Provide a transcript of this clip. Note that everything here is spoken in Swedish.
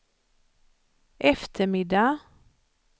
eftermiddag